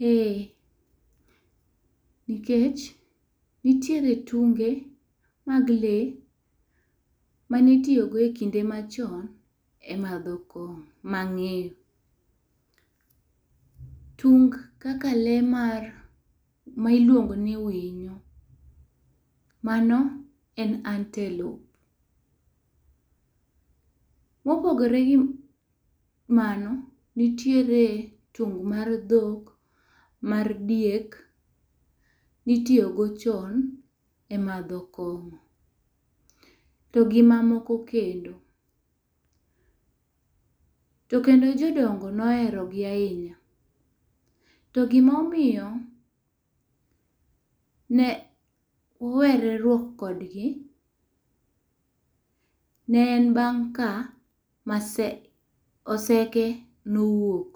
Ee, nikech nitiere tunge mag lee ma ni itiyo go e kinde ma chon e madho kong'o ma ng'eyo. Tung kaka lee mar, ma iluongo ni winyo mano en antelope ,mopogore gi mano nitiere tung mar dhok, mar diek, mi itiyo go chon e madho kong'o to gi ma moko kendo, to kendo jodongo ne ohero gi ahinya. To gi ma omiyo ne owereruok kodgi ne en bang' ka maseke oseke ne owuok.